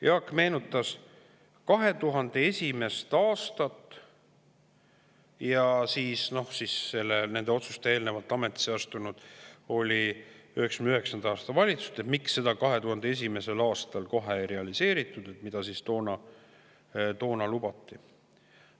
Jaak meenutas 2001. aastat – siis oli nende otsuste eel ametisse astunud 1999. aasta valitsus –, miks 2001. aastal kohe ei realiseeritud seda, mida toona lubati.